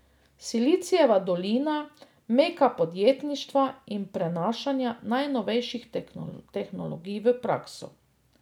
Silicijeva dolina, meka podjetništva in prenašanja najnovejših tehnologij v prakso.